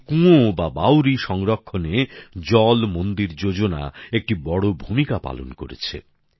এই কুঁয়ো বা বাউড়ি সংরক্ষণে জল মন্দির যোজনা একটি বড় ভূমিকা পালন করেছে